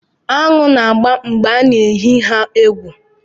Aṅụ na-agba mgbe a na-eyi ha egwu